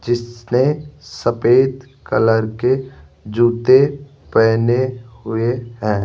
जिसने सफेद कलर के जूते पहने हुए हैं।